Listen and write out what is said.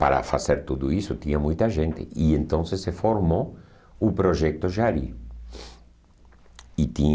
Para fazer tudo isso tinha muita gente, e então se se formou o projeto Jari. E